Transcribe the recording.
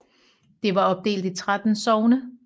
Det var opdelt i 13 sogne